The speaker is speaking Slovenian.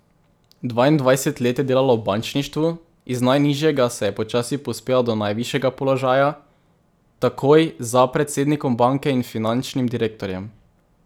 Dvaindvajset let je delala v bančništvu, iz najnižjega se je počasi povzpela do najvišjega položaja, takoj za predsednikom banke in finančnim direktorjem.